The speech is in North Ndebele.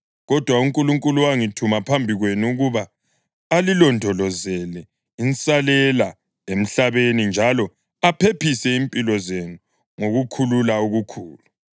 Kodwa uNkulunkulu wangithuma phambi kwenu ukuba alilondolozele insalela emhlabeni njalo aphephise impilo zenu ngokukhulula okukhulu.